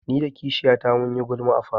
Ni da kishiyata mun yi gulma a falo.